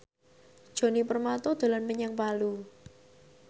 Djoni Permato dolan menyang Palu